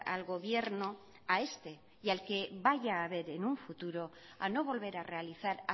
al gobierno a este y al que vaya haber en un futuro a no volver a realizar